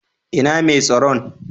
Inna Mai tsaron?